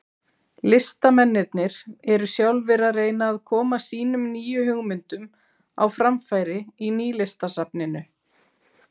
Listamennirnir eru sjálfir að reyna að koma sínum nýju hugmyndum á framfæri í Nýlistasafninu.